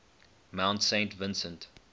mount saint vincent